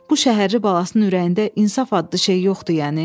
Bu şəhərli balasının ürəyində insaf adlı şey yoxdur yəni?